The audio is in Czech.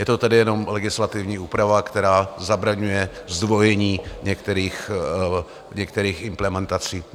Je to tedy jenom legislativní úprava, která zabraňuje zdvojení některých implementací.